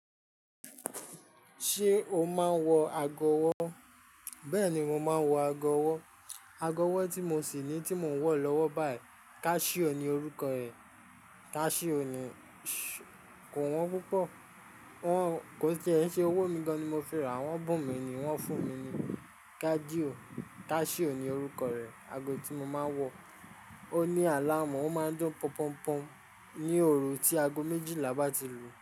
Ṣé o máa ń wọ agọ̀ ọwọ́? Bẹ́ẹ̀ni, mo máa ń wọ agọ̀ ọwọ́. Agọ̀ ọwọ́ tí mo sì ní tí mò ń wọ̀ lọ́wọ́ báyìí. Casio ni orúkọ ẹ̀. Casio ni, kò wọ́n púpọ̀. Wọ́n kò ṣẹ é, ṣe owó mi gan-an ni mo fi rà wọ́n, bùn mi ni wọ́n fún mi ni Cadio, Casio ni orúkọ rẹ̀. Ago tí mo máa ń wọ. Ó ní àláamu, ó máa ń dún pọnpọnpọn ní òru tí ago méjìlá bá ti lùú.